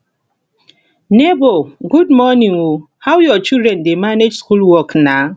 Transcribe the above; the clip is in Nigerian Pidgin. nebor good morning o how your children dey manage school work na